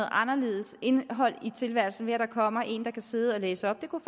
anderledes indhold i tilværelsen ved at der kommer en der kan sidde og læse op det kunne